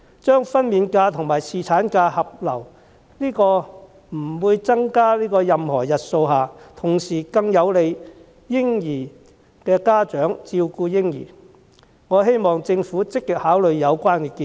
將分娩假和侍產假合流，在不增加任何日數下，同時更有利嬰兒的家長照顧嬰兒，我希望政府積極考慮有關建議。